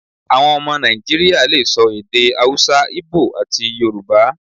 Àwọn ọmọ Nàìjíríà le so èdè Hausa, Íbò, àti Yorùbá.